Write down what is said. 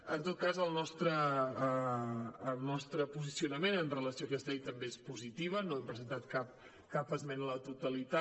en tot cas el nostre posicionament amb relació a aquesta llei també és positiu no hem presentat cap esmena a la totalitat